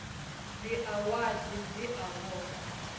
dza wadi dzi a vhofha